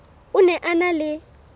o ne a na le